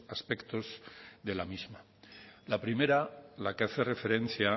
aspectos de la misma la primera la que hace referencia